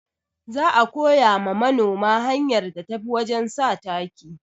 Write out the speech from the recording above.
Za a koya ma manoma hanyar da tafi wajen sa taki